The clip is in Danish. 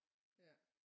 Ja